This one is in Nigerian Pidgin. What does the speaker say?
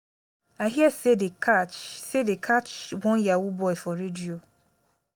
i hear say dey catch say dey catch one yahoo boy for radio